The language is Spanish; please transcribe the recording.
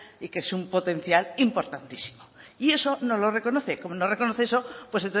y que es un potencial importantísimo y eso no lo reconoce como no reconoce eso pues